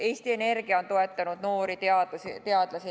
Eesti Energia on näiteks toetanud noori teadlasi.